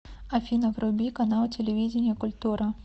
афина вруби канал телевидения культура